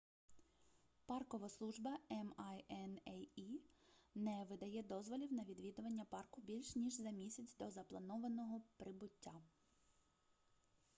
паркова служба minae не видає дозволів на відвідування парку більш ніж за місяць до запланованого прибуття